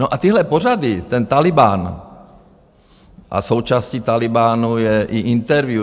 No a tyhle pořady, ten Tálibán a součástí Tálibánu je i Interview.